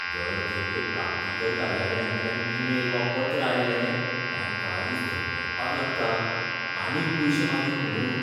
दर खेपे प्राप्तीकर कार्यालयांतल्यान ईमेल वा पत्र आयलें कांय काळीज धडधडपाक लागता, आनीक पयशे मागीत म्हुणून.